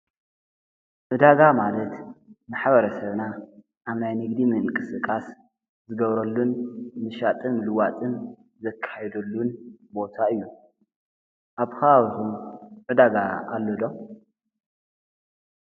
ዕዳጋ ማለት ማሕበረሰብና ኣብ ናይ ንግዲ ምንቅስቓስ ዝገብሮሉን ምሻጥን ምልዋጥን ዘካይደሉን ቦታ እዩ። ኣብ ከባቢኹም ዕዳጋ ኣሎ ዶ?